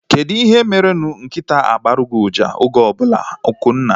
Kedụ ihe mere nkịtaa ji agboru gị uja oge ọbụla? Akunna